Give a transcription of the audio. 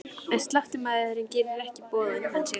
En sláttumaðurinn gerir ekki boð á undan sér.